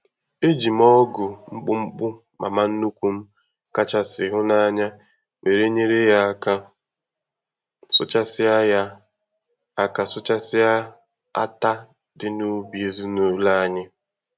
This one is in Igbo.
E ji m ọ́gụ̀ mkpụmkpụ mama nnukwu m kachasị hụ n'anya were nyere ya aka sụchasịa ya aka sụchasịa átá dị n'ubi ezinụlọ anyị.